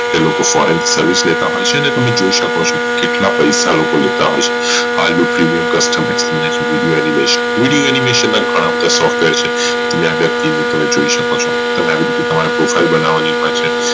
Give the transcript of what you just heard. તે લોકો Foreign Service લેતા હોઈ છે છે ને તમે જોઈ શકો ચો કેટલા પૈસા લોકો લેતા હશે હાલ નું Premium customization અને Video animation માં ઘણા બધા softwar છે તમે જોઈ શકો છુ પછી તમારા profile બનાવની વાત છે